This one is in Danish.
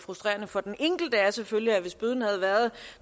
frustrerende for den enkelte er selvfølgelig at hvis bøden havde været